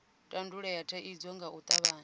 tandulule thaidzo nga u tavhanya